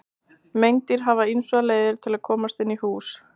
Meindýr hafa ýmsar leiðir til að komast inn í hús.